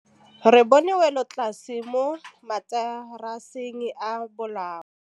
Re bone wêlôtlasê mo mataraseng a bolaô.